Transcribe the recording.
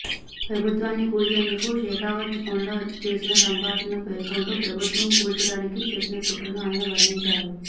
ప్రభుత్వాన్ని కూల్చేందుకు షెకావత్ ఫోన్లో చేసిన సంభాషణను పేర్కొంటూ ప్రభుత్వం కూల్చడానికి చేసిన కుట్రను ఆయన వర్ణించారు